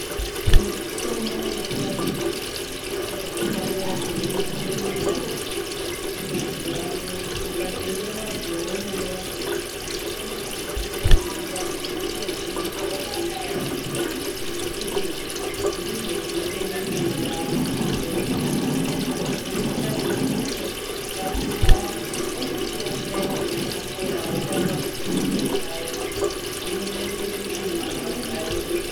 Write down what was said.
Mitombo yechivantu inotoshanda zvine mukurumbira , muziwano ukatenge wazwe waunenge wazwa kuti uyu mutombo uyu unoraoe mundani kutogwinyisira kuushandisa ngekuti ndizvo zvinotede kuti mundani mwacho mureruke kazhinji kacho unenge wechide kukwatisa wochitiwo mvura yakona yapora wotanga kutodita paya zvinondoita kuti marwadzo areruke.